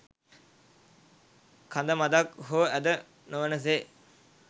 කඳ මඳක් හෝ ඇද නොවන සේ